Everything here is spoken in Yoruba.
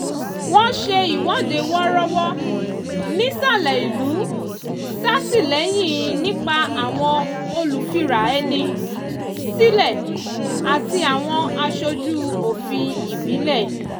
wọ́n ṣe ìwọ́dé wọ́rọ́wọ́ nìsalẹ̀ ìlú ṣàtìlẹ́yìn nípa àwọn olùfira ẹni sílẹ̀ àti àwọn aṣojú òfin ìbílẹ̀